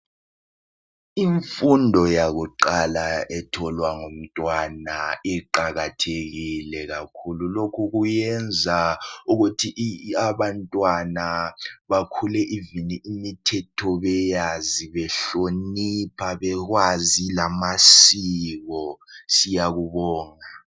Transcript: Imfundo yakuqala etholwa ngumntwana iqakathekile kakhulu. Lokhu kuyenza ukuthi abantwana bakhule ivini imithetho beyazi, behlonipha bekwazi lamasiko siyakubonga.